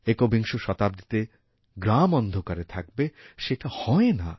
একবিংশ শতাব্দীতে গ্রাম অন্ধকার থাকবে সেটা হয় না